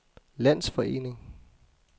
landsforening